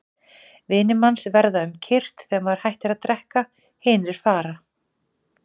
Vinir manns verða um kyrrt þegar maður hættir að drekka, hinir fara.